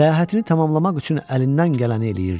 Səyahətini tamamlamaq üçün əlindən gələni eləyirdi.